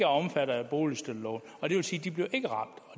omfattet af boligstøtteloven